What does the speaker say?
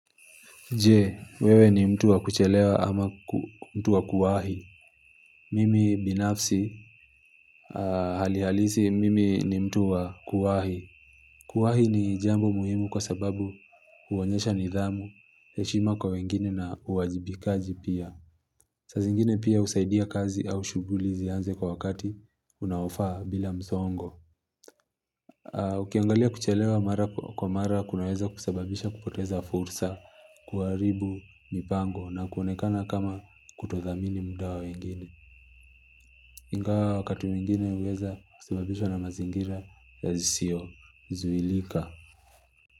Je, wewe ni mtu wa kuchelewa ama mtu wa kuwahi. Mimi binafsi, halihalisi, mimi ni mtu wa kuwahi. Kuwahi ni jambo muhimu kwa sababu huonyesha nidhamu, heshima kwa wengine na uwajibikaji pia. Saa zingine pia husaidia kazi au shughuli zianze kwa wakati unawofaa bila msongo. Ukiangalia kuchelewa mara kwa mara kunaweza kusebabisha kupoteza fursa kuwaribu mipango na kuonekana kama kutothamini mudawa wengine. Ingawa wakati mwingine huweza kuaebabisha na mazingira ya zisio. Zuhilika.